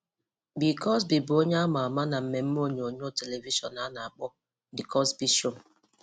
Bill Cosby bụ onye a ma ama na mmemme onyonyo telivishọn a na-akpọ ‘The Cosby Show’.